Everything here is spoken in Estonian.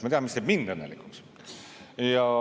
Ma tean, mis teeb mind õnnelikuks.